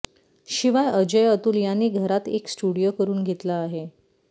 शिवाय अजय अतुल यांनी घरात एक स्टुडिओ करुन घेतला आहे